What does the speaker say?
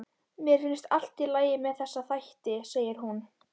Mér finnst allt í lagi með þessa þætti, segir hún.